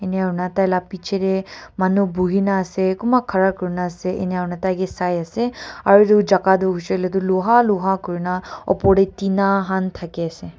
enya aurna taila pichete manu buhina ase kunba khara kurina ase enya aurna taike sai ase aro etu jaga hoishe ole toh luha luha kurna opor te tina han thaki ase.